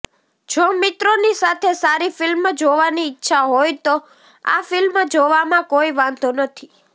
જો મિત્રોની સાથે સારી ફિલ્મ જોવાની ઇચ્છા હોય તો આ ફિલ્મ જોવામાં કોઈ વાંધો નથી